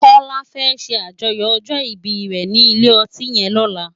Kola fè ṣé ájòyò òjò ìbí re ni ilé òtín yèn lòlá